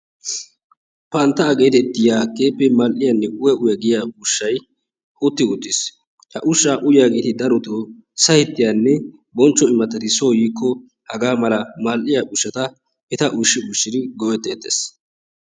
Panttaa geetettiya keehippe mall"iyanne uya uya geetettiya ushshayi utti uttis. Ha ushshaa uyiya asati darotoo sahettiyanne bonchcho imattati soo yiikko hagaa mala mall"iya ushshata eta ushshi ushshidi go"etteettes.